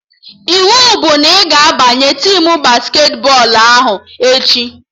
Iwu bụ na ị ga-abanye tim basketi bọọlụ ahụ echi!